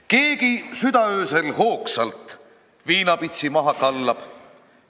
Keegi südaöösel hoogsalt viinapitsi maha kallab.